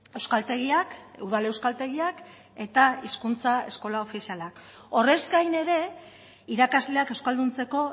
euskaltegiak udal euskaltegiak eta hizkuntza eskola ofiziala horrez gain ere irakasleak euskalduntzeko